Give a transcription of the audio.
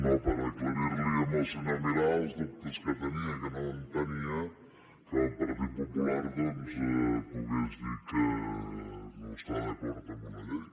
no per aclarir li al senyor milà els dubtes que tenia que no entenia que el partit popular doncs pogués dir que no està d’acord amb una llei